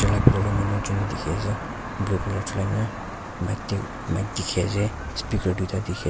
bitor dae manu ekjun kae tiki ase blue colour na mic dae mic tiki ase speaker duita dekhi --